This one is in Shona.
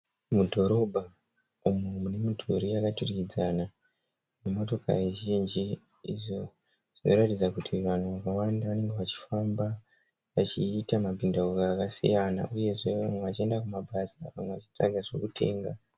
Mudhorobha , umo mune midhuri yakaturikidzana ne motokari zhinji izvo zvinoratidza kuti vanhu vakawanda vanenge vachifamba vachiita mabhindauko akasiyana uyezve vamwe vachienda kumabasa , vamwe vachitsvaka zvekutenga.